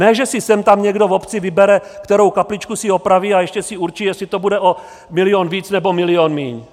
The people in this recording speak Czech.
Ne že si sem tam někdo v obci vybere, kterou kapličku si opraví a ještě si určí, jestli to bude o milion víc nebo milion míň.